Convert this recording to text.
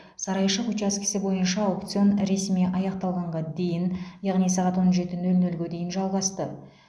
сарайшық учаскесі бойынша аукцион ресми аяқталғанға дейін яғни сағат он жеті нөл нөлге дейін жалғасты